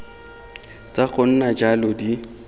tsa go nna jalo di